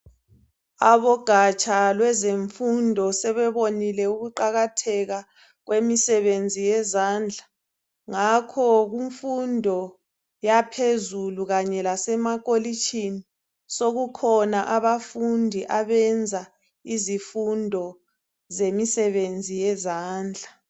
Abogatsha lwezemfundo sebebonile ukuqakatheka kwemisebenzi yezandla ngakho kumfundo yaphezulu kanye lasemakolitshini sokukhona abafundi abenza izifundo zemisebenzi yezandla.